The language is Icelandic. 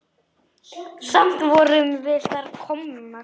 Samt vorum við þarna komnar.